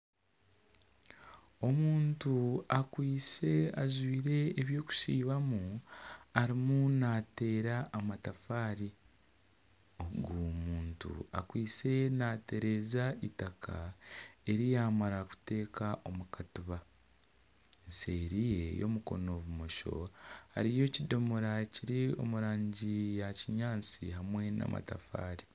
Omuntu ajwire eby'okusiibamu ariyo naateera amatafaari, ogu muntu ariyo naatereeza itaka eri yaaheza kuta omu katiba, seeri ye y'omukono gwa buryo hariyo ekidomora kiri omu rangi ya kinyaatsi hamwe n'amatafaari